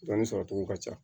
Dɔɔnin sɔrɔcogo ka ca